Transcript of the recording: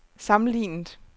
sammenlignet